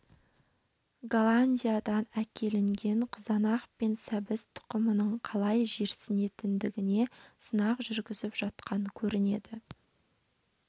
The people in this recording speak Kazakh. голландиядан әкелінген қызанақ пен сәбіз тұқымының қалай жерсінетіндігіне сынақ жүргізіп жатқан көрінеді